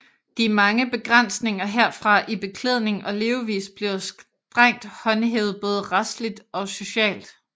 De mange begrænsninger herfra i beklædning og levevis bliver strengt håndhævet både retsligt og socialt